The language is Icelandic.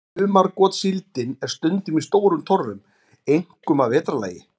Sumargotssíldin er stundum í stórum torfum, einkum að vetrarlagi.